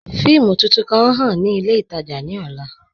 Fíìmù tuntun kan ǹ ḥàn ni ilẹ̀ itaajà ni ọ̀là